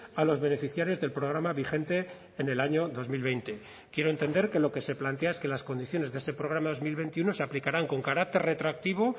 a los beneficiarios del programa vigente en el año dos mil veinte quiero entender que lo que se plantea es que las condiciones de ese programa dos mil veintiuno se aplicarán con carácter retroactivo